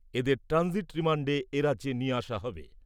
এদের ট্রানজিট রিমান্ডে এরাজ্যে নিয়ে আসা হবে।